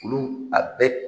kolon a bɛ